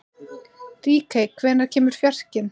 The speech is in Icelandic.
Ríkey, hvenær kemur fjarkinn?